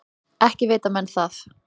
Ekki vita menn það.